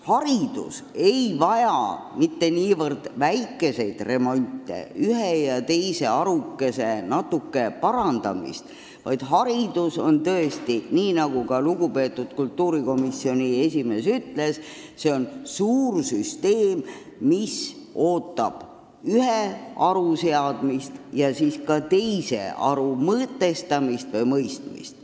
Haridus ei vaja mitte niivõrd väikest remonti, ühe või teise harukese väikest parandamist, vaid haridus on tõesti, nii nagu ka lugupeetud kultuurikomisjoni esimees ütles, suur süsteem, mis ootab ühe haru kordaseadmist ja siis ka teiste harude mõtestamist või mõistmist.